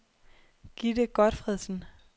Gitte Gotfredsen